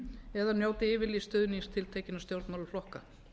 eða njóti yfirlýsts stuðnings tiltekinna stjórnmálaflokka